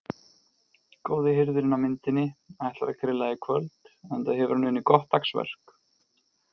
Góði hirðirinn á myndinni ætlar að grilla í kvöld enda hefur hann unnið gott dagsverk.